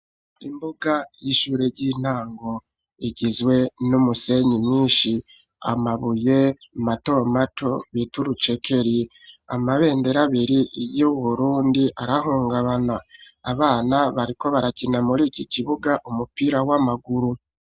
Imbuga y'ishure y'intango, igizwe n'umusenyi mwinshi, amabuye mato mato, bita urucekeri, amabendera abiri y'Uburundi, arahungabana, abana bariko barakina, muri iki kibuga, umupira w'amaguru.